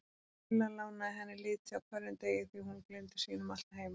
Lilla lánaði henni liti á hverjum degi því hún gleymdi sínum alltaf heima.